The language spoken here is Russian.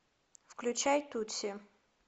включай тутси